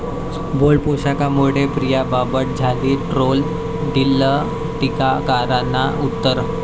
bold पोशाखामुळे प्रिया बापट झाली troll, दिलं टीकाकारांना उत्तर